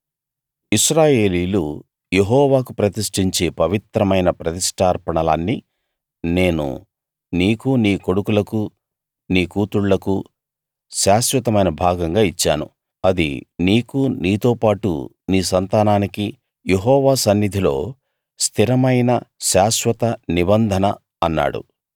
ఇశ్రాయేలీయులు యెహోవాకు ప్రతిష్ఠించే పవిత్రమైన ప్రతిష్ఠార్పణలన్నీ నేను నీకూ నీ కొడుకులకూ నీ కూతుళ్ళకూ శాశ్వతమైన భాగంగా ఇచ్చాను అది నీకూ నీతో పాటు నీ సంతానానికీ యెహోవా సన్నిధిలో స్థిరమైన శాశ్వత నిబంధన అన్నాడు